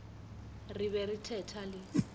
re be re thetha le